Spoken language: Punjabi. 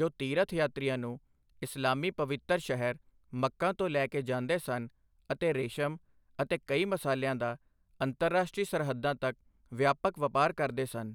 ਜੋ ਤੀਰਥ ਯਾਤਰੀਆਂ ਨੂੰ ਇਸਲਾਮੀ ਪਵਿੱਤਰ ਸ਼ਹਿਰ ਮੱਕਾ ਤੋਂ ਲੈ ਕੇ ਜਾਂਦੇ ਸਨ ਅਤੇ ਰੇਸ਼ਮ ਅਤੇ ਕਈ ਮਸਾਲਿਆਂ ਦਾ ਅੰਤਰਰਾਸ਼ਟਰੀ ਸਰਹੱਦਾਂ ਤੱਕ ਵਿਆਪਕ ਵਪਾਰ ਕਰਦੇ ਸਨ।